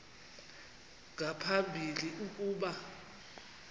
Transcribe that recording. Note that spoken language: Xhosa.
nga phambili ukuba